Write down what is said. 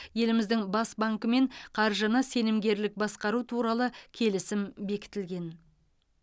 еліміздің бас банкімен қаржыны сенімгерлік басқару туралы келісім бекітілген